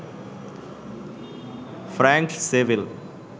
ফ্র্যাঙ্কট civil